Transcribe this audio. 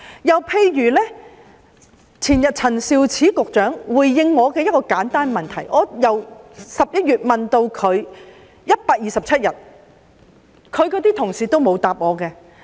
又例如陳肇始局長前天回應我一個簡單的問題，我由11月提出問題，至今已127天，她的同事也沒有回答我。